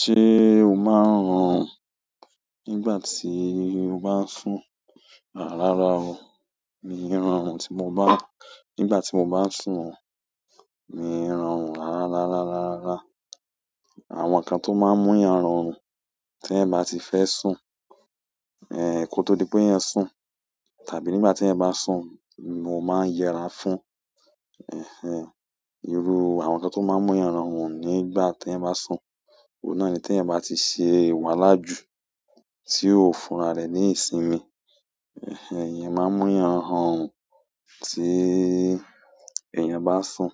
Ṣé o máa ń rọrùn nígbà tí o bá ń sùn? Rárá o, mi ò ọrùn tí mo bá, nígbà tí mo bá sùn o, mi ò ọrùn. Rárá, rárá, rárá. Àwọn nǹkan tó máa ń mú èèyàn ọrùn tí ẹ̀ ti n bá ti fẹ́ sùn, eh kó tó di pé ẹ̀eyan sùn tàbí nígbà tí ẹ̀eyan bá sùn, mo máa ń yẹra fún, ẹhẹń, irú àwọn nǹkan tó máa ń mú èèyàn rọrùn nígbà tí ẹ̀ bá sùn, òun náà ni tí ẹ̀ bá ti ṣe wà lájú tí ó fúnra rẹ̀ ní ìsinmi. Ẹhẹń, iyen máa ń mú èèyàn rọrùn tí èèyàn bá sùn.